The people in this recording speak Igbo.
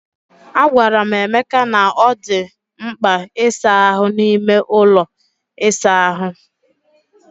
Agwara m Emeka na ọ dị mkpa ịsa ahụ n'ime ụlọ ịsa ahụ.